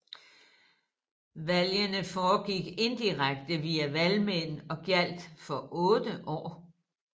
Valgene foregik indirekte via valgmænd og gjaldt for 8 år